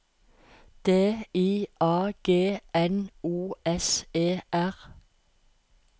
D I A G N O S E R